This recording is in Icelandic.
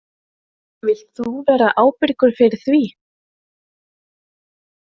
Vilt þú vera ábyrgur fyrir því?